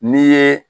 N'i ye